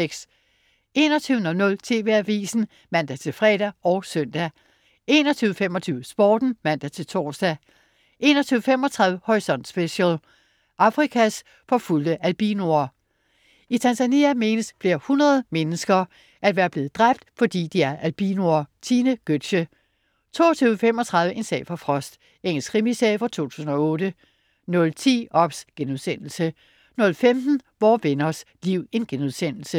21.00 TV Avisen (man-fre og søn) 21.25 Sporten (man-tors) 21.35 Horisont Special: Afrikas forfulgte albinoer. I Tanzania menes flere hundrede mennesker at være blevet dræbt fordi de er albinoer. Tine Gøtzsche 22.35 En sag for Frost. Engelsk krimiserie fra 2008 00.10 OBS* 00.15 Vore Venners Liv*